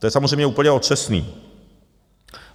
To je samozřejmě úplně otřesné.